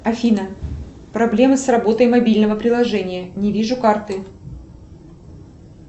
афина проблема с работой мобильного приложения не вижу карты